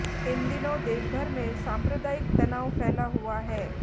इन दिनों देशभर में सांप्रदायिक तनाव फैला हुआ है